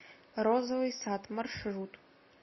розовый сад маршрут